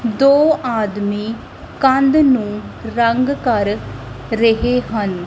ਦੋ ਆਦਮੀ ਕੰਧ ਨੂੰ ਰੰਗ ਕਰ ਰਹੇ ਹਨ।